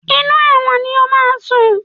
Inú ẹ̀wọ̀n ni o máa sùn.